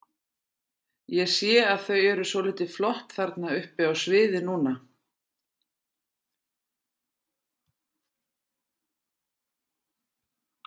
Ég sé að þau eru svolítið flott þarna uppi á sviði núna?